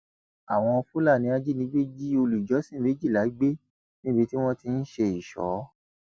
àwọn fúlàní ajínigbé jí olùjọsìn méjìlá gbé níbi tí wọn ti ń ṣe ìṣó